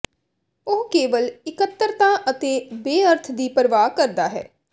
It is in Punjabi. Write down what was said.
ਉਹ ਕੇਵਲ ਇਕੱਤਰਤਾ ਅਤੇ ਬੇਅਰਥ ਦੀ ਪਰਵਾਹ ਕਰਦਾ ਹੈ